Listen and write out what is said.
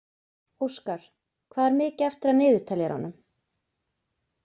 Óskar, hvað er mikið eftir af niðurteljaranum?